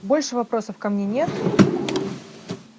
больше вопросов ко мне нет